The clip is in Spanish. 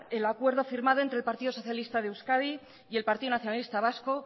el acuerdo firmado entre el partido socialista de euskadi y el partido nacionalista vasco